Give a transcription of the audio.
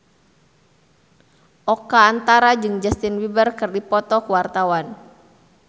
Oka Antara jeung Justin Beiber keur dipoto ku wartawan